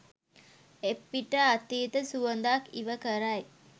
එපිට අතීත සුවඳක් ඉව කරයි